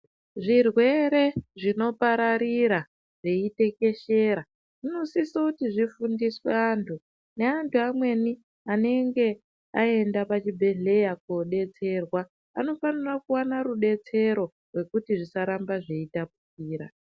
Zvirwere zvinopararira zveitekeshera zvinosise kuti zvifundiswe andu neandu amweni aenda pachibhedhleya kodetserwa vanofanira kuwana rubetsero rwekuti zvisaramba zveitapukira